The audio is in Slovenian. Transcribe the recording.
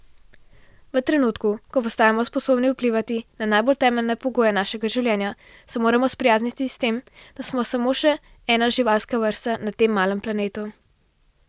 V trenutku, ko postajamo sposobni vplivati na najbolj temeljne pogoje našega življenja, se moramo sprijazniti s tem, da smo samo še ena živalska vrsta na tem malem planetu.